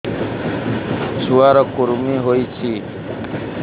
ଛୁଆ ର କୁରୁମି ହୋଇଛି